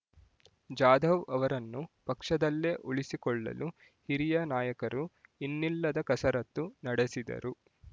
ಜಾಧವ್ ಅವರನ್ನು ಪಕ್ಷದಲ್ಲೇ ಉಳಿಸಿಕೊಳ್ಳಲು ಹಿರಿಯ ನಾಯಕರು ಇನ್ನಿಲ್ಲದ ಕಸರತ್ತು ನಡೆಸಿದರು